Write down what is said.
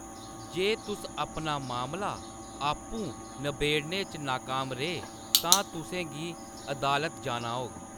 जे तुस अपना मामला आपूं नबेड़ने च नाकाम रेह्, तां तुसें गी अदालत जाना होग।